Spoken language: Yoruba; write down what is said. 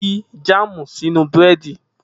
Fi jáàmù sínú Búrẹ́dì!